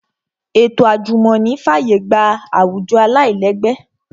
Ètò àjùmọ̀ní fàyè gba àwùjọ aláìlẹ́gbẹ́